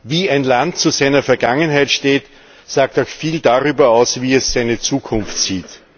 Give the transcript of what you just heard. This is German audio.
Wie ein Land zu seiner Vergangenheit steht, sagt auch viel darüber aus, wie es seine Zukunft sieht.